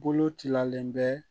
Bolo cilalen bɛ